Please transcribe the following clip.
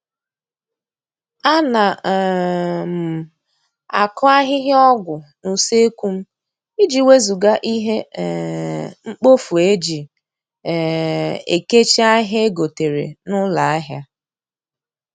A na um m akụ ahịhịa ọgwụ n'useekwu m, iji wezụga ihe um mkpofu eji um ekechi ahịa egotere n'ụlọ ahịa